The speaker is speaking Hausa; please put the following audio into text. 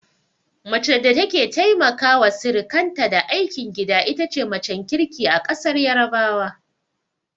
Mace da take taimaka wa sirikanta da aikin gida itace macen kirki a ƙasar yarabawa